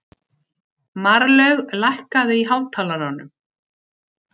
Marlaug, lækkaðu í hátalaranum.